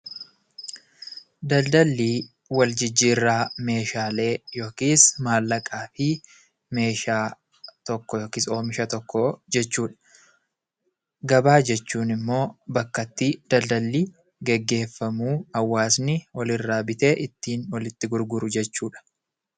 Daldalli wal jijjiirraa meeshaalee yookiis mallaqaa fi meeshaalee tokko yookaan oomisha tokko jechuudha. Gabaa jechuun immoo bakka daldalli itti gaggeeffamu hawaasni walirraa bitee walitti gurguru jechuudha.